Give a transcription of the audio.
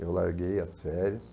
Eu larguei as férias.